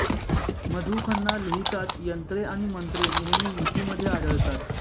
मधु खन्ना लिहितात यंत्रे आणि मंत्रे नेहमी युतीमध्ये आढळतात